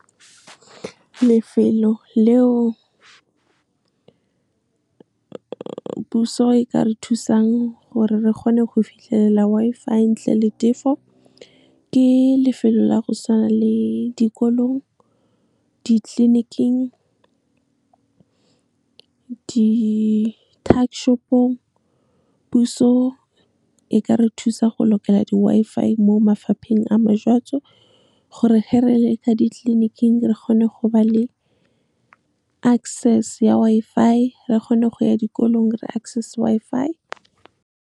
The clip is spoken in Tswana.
Lefelo le o puso e ka re thusang gore re kgone go fitlhelela Wi-Fi ntle le tefo, ke lefelo la go tshwana le dikolong, ditleniking, di-tuckshop-ong. Puso e ka re thusa go lokela di-Wi-Fi mo mafapheng a , gore he re le ka ditleliniking re kgone go ba le access ya Wi-Fi, re kgone go ya dikolong re access Wi-Fi.